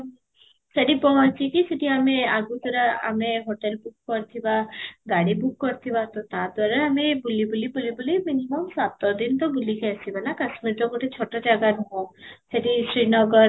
ସେଠି ପହଞ୍ଚି କି ସେଠି ଆମ ଆମେ ଆଗତୁରା ଆମେ hotel book କରିଥିବା ଗାଡି book କରିଥିବା ତ ତ'ପରେ ଆମେ ବୁଲି ବୁଲି ବୁଲି ବୁଲି minimum ସାତ ଦିନ ତ ବୁଲିକି ଆସିବା ନା କାଶ୍ମୀର ତ ଗୋଟେ ଛୋଟ ଜାଗା ନୁହଁ ସେଠି ଶ୍ରୀ